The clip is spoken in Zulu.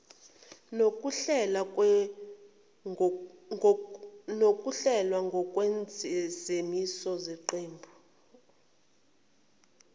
nokuhlelwa ngokwezimiso zeqembu